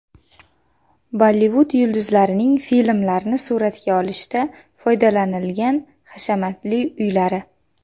Bollivud yulduzlarining filmlarni suratga olishda foydalanilgan hashamatli uylari .